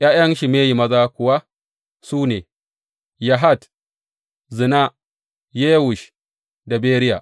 ’Ya’yan Shimeyi maza kuwa su ne, Yahat, Zina, Yewush da Beriya.